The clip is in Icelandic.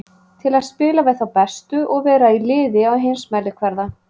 Til að spila við þá bestu og vera í liði á heimsmælikvarða.